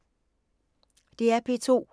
DR P2